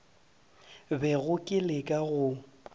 bego ke le ka go